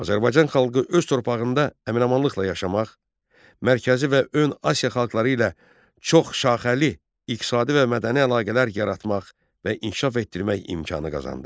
Azərbaycan xalqı öz torpağında əmin-amanlıqla yaşamaq, mərkəzi və ön Asiya xalqları ilə çox şaxəli iqtisadi və mədəni əlaqələr yaratmaq və inkişaf etdirmək imkanı qazandı.